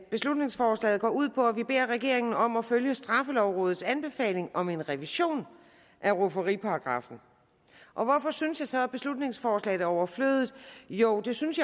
beslutningsforslaget går ud på at man beder regeringen om at følge straffelovrådets anbefaling om en revision af rufferiparagraffen og hvorfor synes jeg så at beslutningsforslaget er overflødigt jo det synes